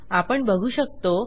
आपण बघू शकतो